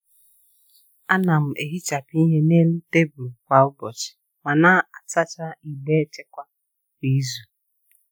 A na m ehichapụ ihe n’elu tebụl kwa ụbọchị ma na-asacha igbe echekwa kwa izu.